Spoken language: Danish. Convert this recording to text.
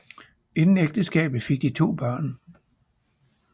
Inden ægteskabet fik de to børn